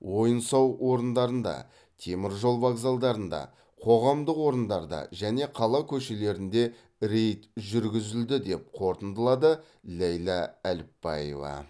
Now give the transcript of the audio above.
ойын сауық орындарында теміржол вокзалдарында қоғамдық орындарда және қала көшелерінде рейд жүргізілді деп қортындылады ләйлә әліпбаева